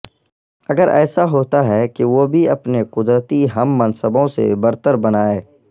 اکثر ایسا ہوتا ہے کہ وہ بھی اپنے قدرتی ہم منصبوں سے برتر بنائے